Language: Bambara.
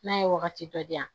N'a ye wagati dɔ di yan